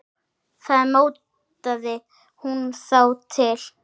Þá mótaði hún þá til.